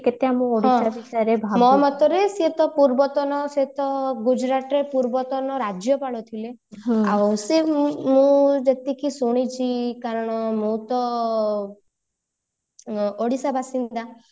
ମୋ ମତରେ ସେ ତ ପୂର୍ବତନ ସେ ତ ଗୁଜୁରାଟ ର ପୂର୍ବତନ ରାଜ୍ୟପାଳ ଥିଲେ ମୁଁ ଯେତିକି ଶୁଣିଛି କାରଣ ମୁଁ ତ ଅ ଓଡିଶା ବାସିନ୍ଦା